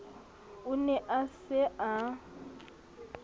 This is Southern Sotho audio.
o ne a se a